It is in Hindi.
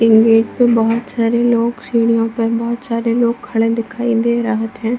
इ गेट पे बहुत सारे लोग सीढ़ियों पर बहुत सारे लोग खड़े दिखाई दे रहत है।